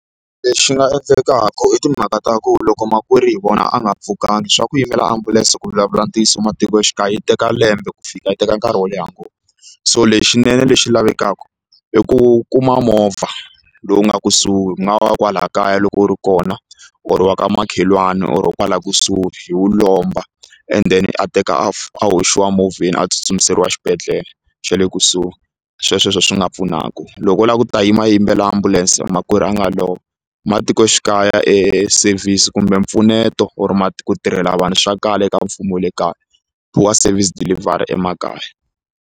Lexi nga endlekaku i timhaka ta ku loko makwerhu hi vona a nga pfukanga swa ku yimela ambulense ku vulavula ntiyiso ematikoxikaya yi teka lembe ku fika yi teka nkarhi wo leha ngopfu so lexinene lexi lavekaka i ku kuma movha lowu nga kusuhi ku nga va wa kwala kaya loko wu ri kona or wa ka makhelwani or kwala kusuhi hi wu lomba and then a teka a hoxiwa movheni a tsutsumerisiwa xibedhlele xe le kusuhi sweswo hi swo ho swi nga pfunaka loko u lava ku ta yima ayimbelela ambulense makwerhu a nga lova matikoxikaya e service kumbe mpfuneto or ku tirhela vanhu swa kala eka mfumo wa le kaya wa service deliver emakaya.